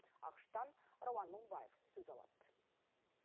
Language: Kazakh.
ақш тан рауан мыңбаев сөз алады